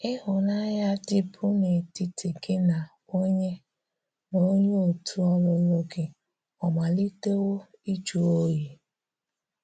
Ị́hụ́nanya dị̀bu n’etitì gị na onyé na onyé òtù̀ ọlụ̀lụ̀ gị ọ̀ malitewò ịjụ̀ òyí?